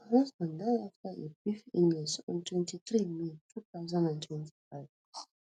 her husband die afta a brief illness on twenty-three may two thousand and twenty-five